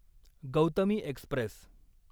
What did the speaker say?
Gautami Express